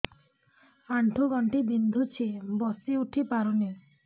ଆଣ୍ଠୁ ଗଣ୍ଠି ବିନ୍ଧୁଛି ବସିଉଠି ପାରୁନି